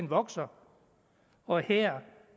vokser og her